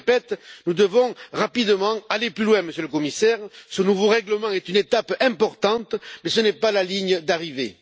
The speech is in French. Je le répète nous devons rapidement aller plus loin, Monsieur le Commissaire, car ce nouveau règlement est une étape importante, mais ce n'est pas la ligne d'arrivée.